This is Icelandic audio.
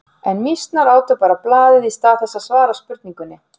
En mýsnar átu bara blaðið í stað þess að svara spurningunni.